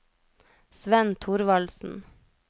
Svenn Thorvaldsen